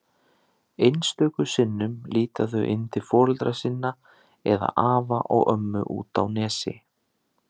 Einstöku sinnum líta þau inn til foreldra sinna eða afa og ömmu úti á Nesi.